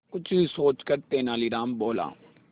कुछ सोचकर तेनालीराम बोला